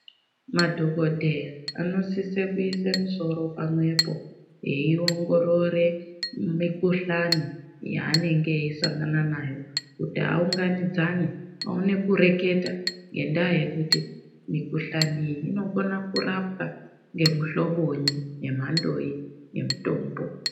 Madhokodheya anosise kuyise musoro pamwepo, veyiongorore mikuhlani yaanenge eyisangana nayo kuti awunganidzane, awone kureketa ngendaa yekuti mikuhlani iyi inokona kurapwa ngemuhloboyi nemandoyi yemutombo.